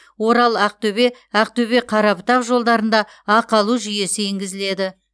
орал ақтөбе ақтөбе қарабұтақ жолдарында ақы алу жүйесі енгізіледі